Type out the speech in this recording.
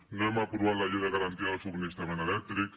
no hem aprovat la llei de garantia del subministrament elèctric